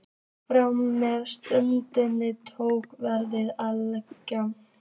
Frá þeirri stundu tók veðrið að lægja.